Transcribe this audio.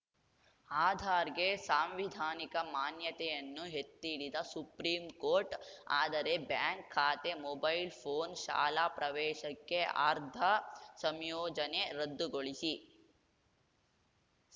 ಆಧಾರ್‌ಗೆ ಸಾಂವಿಧಾನಿಕ ಮಾನ್ಯತೆಯನ್ನು ಎತ್ತಿಹಿಡಿದ ಸುಪ್ರೀಂಕೋರ್ಟ್‌ ಆದರೆ ಬ್ಯಾಂಕ್‌ ಖಾತೆ ಮೊಬೈಲ್‌ ಫೋನ್‌ ಶಾಲಾ ಪ್ರವೇಶಕ್ಕೆ ಆರ್ಧಾ ಸಂಯೋಜನೆ ರದ್ದುಗೊಳಿಸಿ